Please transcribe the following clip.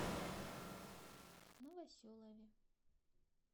новоселове